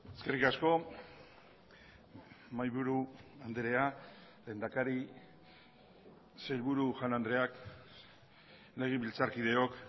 eskerrik asko mahaiburu andrea lehendakari sailburu jaun andreak legebiltzarkideok